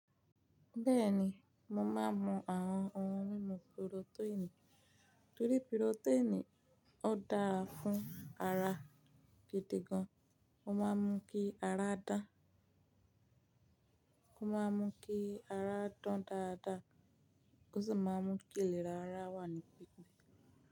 Bẹ́ẹ̀ni, mo máa ń mu àwọn ohun mímu purotẹ́ẹ̀nì torí purotẹ́ẹ̀nì ó dáa fún ara gidi gan. Ó máa ń mú kí ara dán, ó máa ń mú kí ara dán dáadáa, ó sì máa ń mú kí ìlera ara wà ní pípé.